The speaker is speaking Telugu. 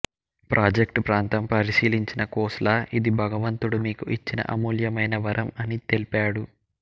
ప్రాజెక్ట్ ప్రాంతం పరిశీలించిన ఖోస్లా ఇది భగవంతుడు మీకు ఇచ్చిన అమూల్యమైన వరం అని తెల్పాడు